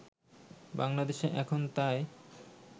বাংলাদেশে এখন তাই